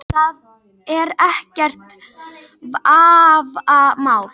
Það er ekkert vafamál